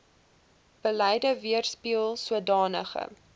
beleid weerspieel sodanige